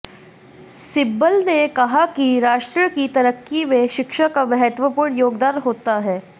सिब्बल ने कहा कि राष्ट्र की तरक्की में शिक्षा का महत्वपूर्ण योगदान होता है